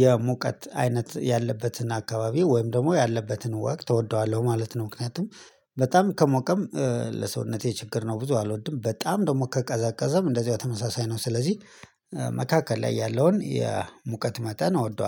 የሙቀት አይነት ያለበትን አካባቢ ወይም ደግሞ ያለበትን ወቅት እወደዋለሁ ማለት ነው። ምክንያቱም በጣም ከሞቀም ለሰውነቴ ችግር ነው ብዙ አልወድም በጣም ደግሞ ከቀዘቀዘም እንደዚሁ ተመሳሳይ ነው። ስለዚህ መካከል ላይ ያለውን የሙቀት መጠን አወደዋለሁ